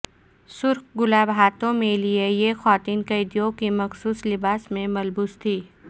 سرخ گلاب ہاتھوں میں لیے یہ خواتین قیدیوں کے مخصوص لباس میں ملبوس تھیں